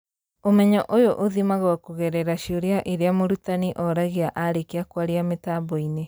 ũmenyo ũyũ ũthimagwo kũgerera ciũria iria mũrutani oragia arĩkia kwaria mĩtambo-inĩ